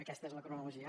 aquesta és la cronologia